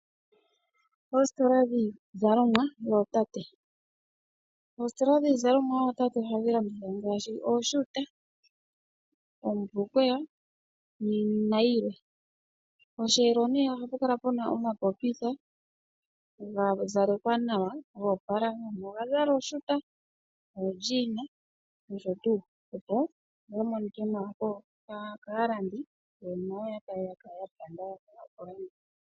Oositola dhiizalomwa yootate Oositola dhiizalomwa yootate ohadhi landithwa ngaashi oohuta, oombulukweya nayilwe. Posheelo ohapu kala pe na omapopitha ga zalekwa nawa ga opala, gamwe oga zala oohuta, oondjiina noshowo tuu, opo ga monike nawa kaalandi yo nayo ya kale ya nyanyukwa okulanda